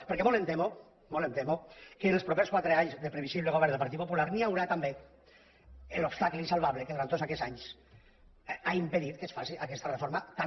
perquè molt em temo que els propers quatre anys de previsible govern del partit popular hi haurà també l’obstacle insalvable que durant tots aquests anys ha impedit que es faci aquesta reforma tan